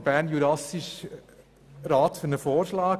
Der bernjurassiche Rat schlägt nun Folgendes vor: